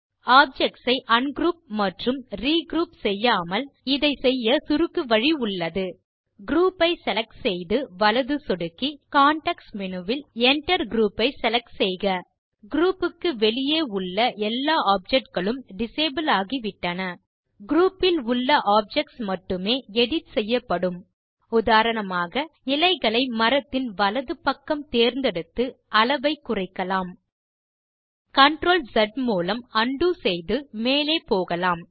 objects ஐ ungroup மற்றும் regroup செய்யாமல் இதை செய்ய சுருக்கு வழி உள்ளது குரூப் ஐ செலக்ட் செய்து வலது சொடுக்கி கான்டெக்ஸ்ட் மேனு வை பாருங்கள் Enter குரூப் ஐ செலக்ட் செய்க குரூப் க்கு வெளியே உள்ள எல்லா ஆப்ஜெக்ட் களும் டிசபிள் ஆகிவிட்டன குரூப் இல் உள்ள ஆப்ஜெக்ட்ஸ் மட்டுமே எடிட் செய்யப்படும் உதாரணமாக இலைகளை மரத்தின் வலது பக்கம் தேர்ந்தெடுத்து அளவை குறைக்கலாம் Ctrl ஸ் மூலம் உண்டோ செய்து மேலே போகலாம்